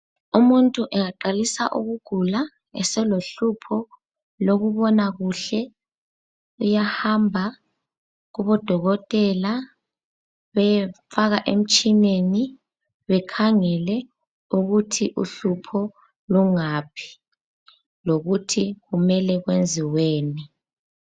Umuntu engaqalisa ukugula eselohlupho lokubona kuhle. uyahamba kubo dokotela beyemfaka emtshineni bekhangele ukuthi uhlupho lungaphi, lokuthi kumele kwenziweni.